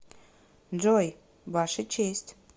джой ваша честь